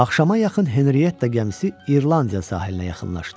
Axşama yaxın Henriyetta gəmisi İrlandiya sahilinə yaxınlaşdı.